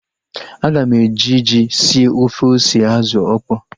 Aga m eji ji sie ofe ose azụ okpo